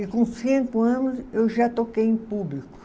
E com cinco anos eu já toquei em público.